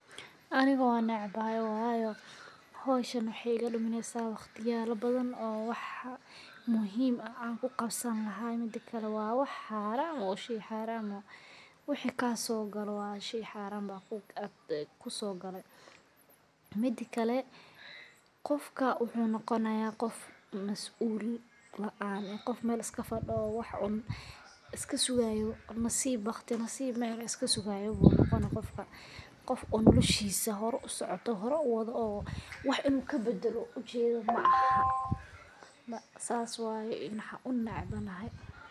Aniga wan necbagay wayo howshan waxay iga dumineysa waqtiyalo badan oo wax muhiim ah an kuqabsani laha midakale waa wax xaaran waa shey xaaran wixi kasoo galo waa shey xaaran aa kusoo gale, midakale qofka wuxuu noqonaya qof mas'ul laan eh qofka Mel iska fadho wax un iska sugaay nasiib, baqti nasiib iska sugaayo u noqoni qofka, qof oo noloshisaa hor usocooto oo horey uwado oo wax inu kabadalo ujeedo ma aha sas waye waxan unecbanahay